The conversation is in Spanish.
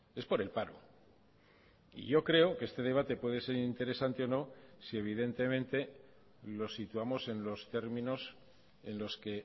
es por el paro y yo creo que este debate puede ser interesante o no si evidentemente lo situamos en los términos en los que